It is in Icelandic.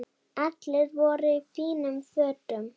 Allir voru í fínum fötum.